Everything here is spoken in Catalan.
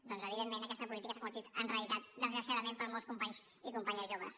doncs evidentment aquesta política s’ha convertit en realitat desgraciadament per a molts companys i companyes joves